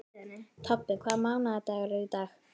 Tobbi, hvaða mánaðardagur er í dag?